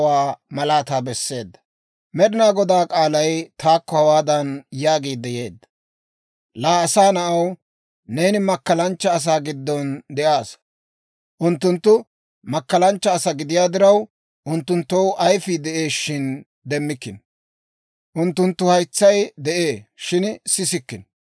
«Laa asaa na'aw, neeni makkalanchcha asaa giddon de'aassa. Unttunttu makkalanchcha asaa gidiyaa diraw, unttunttoo ayifii de'ee, shin demmikkino; unttunttoo haytsay de'ee, shin sissikkino.